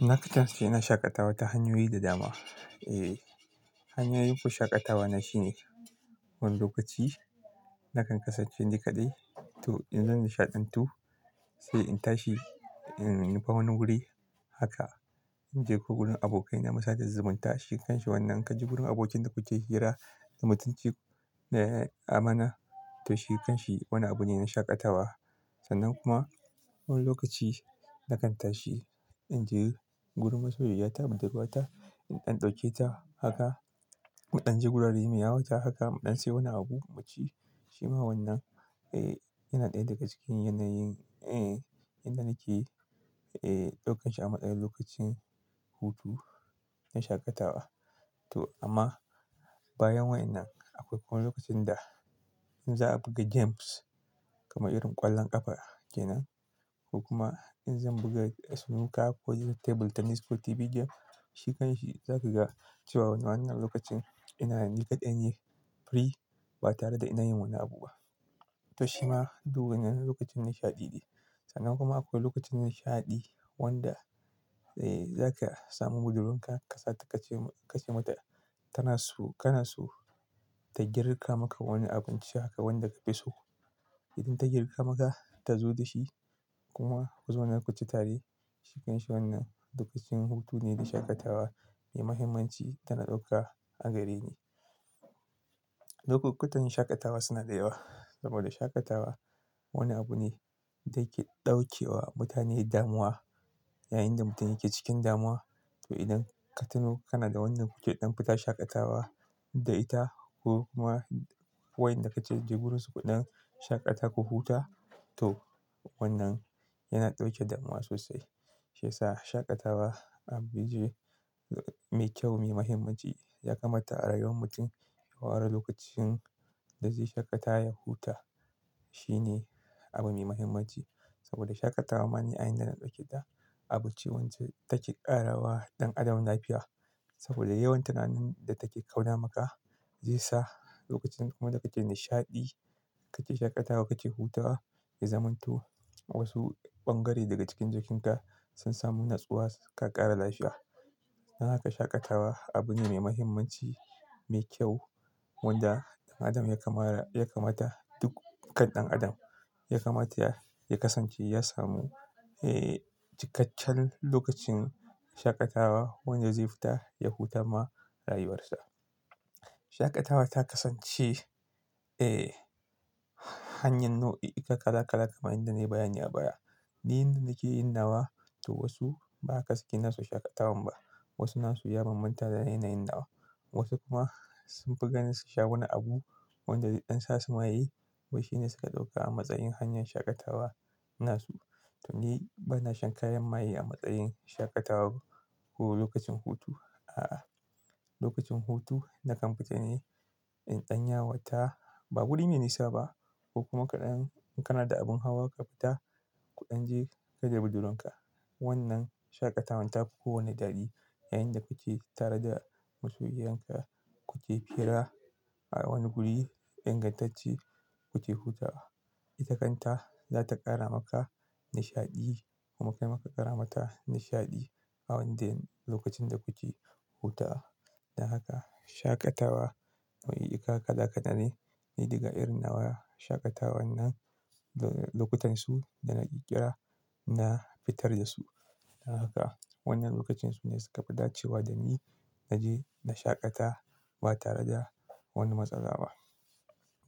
Na kasance ina shaƙatawa ta hanyoyi da dama. Eh, hanyoyin shaƙatawa na shine wani lokaci nakan kasance ni kaɗai to in zan nishaɗantu sai in tashi, in nufa wani wuri. Haka in je ko wurin abokai na mu sa da, zubunta, shikan shi wannan. Kaji gurin abokin da kuke hira da mutunci, eh, amana to shikan shi wani abu ne na shaƙatawa. Sannan kuma wani lokaci na kan tashi in je gurin masoyi ya ta budurwa ta, in ɗan ɗauke ta. Haka mu ɗan je wuraren mu yawata. Haka mu ɗan sai wani abu mu ci. Shi ma wannan, eh, yana ɗaya daga cikin yanayin, eh, inda nake, eh, ɗaukar shi a matsayin lokacin hutu na shaƙatawa. To amma bayan wayan nan akwai wani lokacin da in za a buga games kamar irin ƙwallon ƙafa ke nan ko kuma in zan buga snooker ko table tennis ko TV game, shikan shi zaka ga cewa wannan lokacin ina ni kaɗai ne free ba tare da ina yin wani abu ba. To shi ma duk wannan lokacin nishaɗi ne. Sannan kuma akwai lokacin nishaɗi wanda, eh, zaka samu budurwarka ka sata ka ce, ka ce mata tana so, kana so ta girka maka wani abinci haka wanda ka fi so. Idan ta girka maka, ta zo da shi kuma ku zauna ku ci tare, shikan shi wannan duk cikin hutu ne da shaƙatawa mai mahimmanci tana ɗauka a gare ni. Lokukutan shaƙatawa suna da yawa saboda shaƙatawa wani abu ne da ke ɗaukewa mutane damuwa. Yayinda mutum yake cikin damuwa to idan ka tuno kana da wannan kuke ɗan fita shaƙatawa da ita ko ma wayan da ka ke je wurin su kuɗan shaƙata ku huta, to wannan yana ɗauke damuwa sosai. Shi yasa shaƙatawa abu mai kyau, mai muhimmanci ya kamata a rayuwar mutum. Ka ware lokacin da zai shaƙata ya huta shine abu mai muhimmanci. Saboda shaƙatawa ma ni ayanda dana ɗauke da abi ce wance take ƙarawa ɗan adam lafiya. Saboda yawan tunanin da take kauda maka zai sa lokacin kuma da kake nishaɗi, kake shaƙatawa, kake hutawa ya zamanto. Wasu bangare daga cikin jikinka sun samu natsuwa, ka ƙara lafiya. Don haka shaƙatawa abu ne mai mahimmanci, mai kyau wanda ɗan adam ya kamara, ya kamata duk kan ɗan adam ya kamata ya kasance ya samu, eh, cikakken lokacin shaƙatawa wanda zai fita ya huta ma rayuwarsa. Shaƙatawa ta kasance, eh, hanyar nau'i kala kala kamar yanda na yi bayanin a baya. Inda nake yin nawa to wasu ba haka suke nasu shaƙatawan ba. Wasu nasu ya banbanta da yanayin nawa. Wasu kuma sun fi gani su sha wani abu wanda zai dan sa su maye wai shi ne suka ɗauka a matsayin hanyar shaƙatawa nasu. To ni bana shan kayan maye a matsayin shaƙatawa ko lokacin hutu. A'a, lokacin hutu na kan fita ne in ɗan yawata. Ba guri ya nisa ba ko kuma ka ɗan. In kana da abin hawa ka fita, ku ɗan je kai da budurwarka. Wannan shaƙatawan ta fi kowane daɗi. Yayinda kuke tare da masoyiyarka kuke fira a wani guri ingantacce kuke hutawa. Ita kanta za ta ƙara maka nishaɗi kuma kai ma ka ƙara mata nishaɗi. Awande lokacin da kuke hutawa. Don haka shaƙatawa nau'i, ika kala kala ne. Ni daga irin nawa shaƙatawan nan lokutansu da nake kira na fitar da su. Don haka wannan lokacinsu ne suka fi dacewa da ni na je na shaƙata ba tare da wani matsala ba.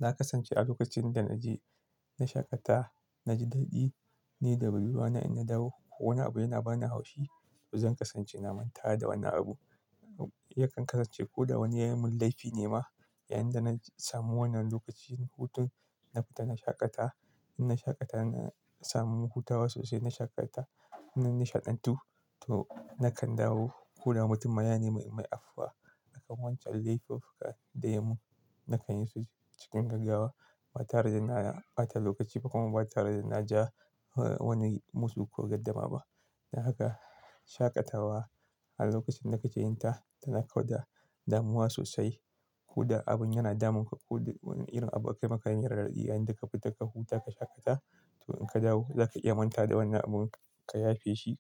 Na kasance a lokacin da na je na shaƙata, na ji daɗi. Ni da budurwana in na dawo ko wani abu yana bani haushi to zan kasance na manta da wannan abun. Yakan kasance ko da wani ya mun laifi ne ma. Yayinda na samu wannan lokacin hutun na fita na shaƙata, in na shaƙata na samu hutawa sosai, na shaƙata, ina nishaɗantu to na kan dawo. Ko da mutum ma yane mi, in mai affuwa a kan wancan laifuka da ya yi mun, na kan yi su cikin gaggawa ba tare da na ɓata lokaci ba kuma ba tare da na ja wani musu ko gaddama ba. Don haka shaƙatawa a lokacin da kake yin ta tana kauda damuwa sosai ko da abun yana damun ka. Ko da wani irin abu aka yi maka marar daɗi yayinda ka fita ka huta, ka shaƙata. To in ka dawo za ka iya manta da wannan abun ka yafe shi.